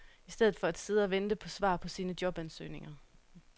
I stedet for at sidde og vente på svar på sine jobansøgninger